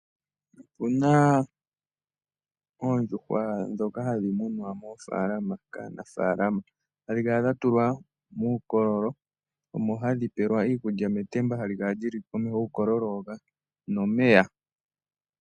Opu na oondjuhwa ndhoka hadhi munwa moofaalama kaanafaalama. Ohadhi kala dha tulwa muukololo omo hadhi pelwa iikulya metemba hali kala li li komeho guukololo hoka nomeya.